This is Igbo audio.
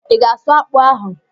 I ga-asụ akpụ ahụ?